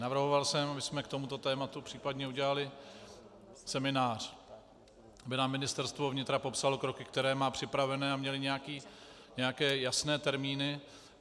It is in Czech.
Navrhoval jsem, abychom k tomuto tématu případně udělali seminář, aby nám Ministerstvo vnitra popsalo kroky, které má připravené, a měli nějaké jasné termíny.